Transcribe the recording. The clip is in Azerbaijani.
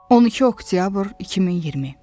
12 oktyabr 2020.